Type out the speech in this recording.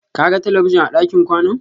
Ka ga talabijin a ɗakin kwanan?